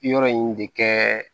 Yɔrɔ in de kɛ